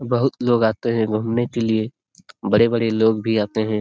बहुत लोग आते है घूमने के लिए बड़े- बड़े लोग भी आते है।